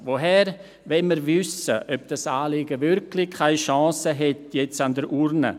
Woher wollen wir wissen, ob das Anliegen wirklich keine Chancen hätte an der Urne?